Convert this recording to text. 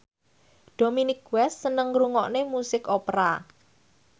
Dominic West seneng ngrungokne musik opera